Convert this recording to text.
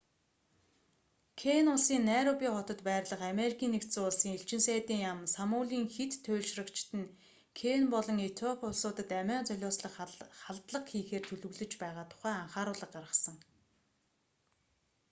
кени улсын найроби хотод байрлах америкийн нэгдсэн улсын элчин сайдын яам сомалийн хэт туйлшрагчид нь кени болон этиоп улсуудад амиа золиослох халдлага хийхээр төлөвлөж байгаа тухай анхааруулга гаргасан